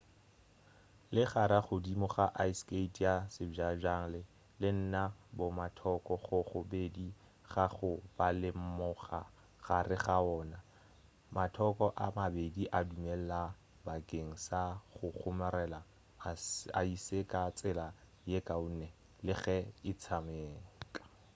legare godimo ga ice skate ya sebjalebjale le na le bomathoko go go bedi ga go ba le monga gare ga wona mathoko a a mabedi a dumelela bakeng sa go kgomarela aese ka tsela ye kaone le ge a tšhekame